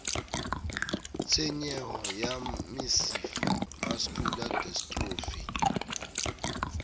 tshenyeho ya mesifa mascular dystrophy